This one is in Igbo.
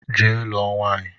Jee lụọ nwaanyị!